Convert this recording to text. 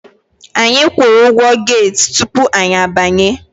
Anyi kwụrụ ụgwọ get tupu anyị abanye.